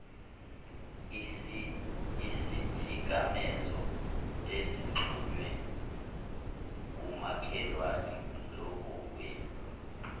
isithikamezo ezixhunywe kumakhalekhukhwini